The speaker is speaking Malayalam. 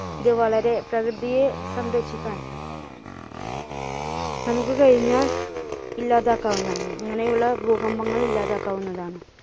ഇത് വളരെ പ്രകൃതിയെ സംരക്ഷിക്കാൻ നമ്മുക്ക് കഴിഞ്ഞാൽ ഇല്ലാതാക്കാവുന്നതാണ് ഇങ്ങനെയുള്ള ഭൂകമ്പങ്ങൾ ഇല്ലാതാക്കാവുന്നതാണ്.